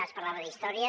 ara es parlava d’història